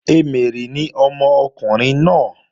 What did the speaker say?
Emèrè ni ọmọkùnrin náà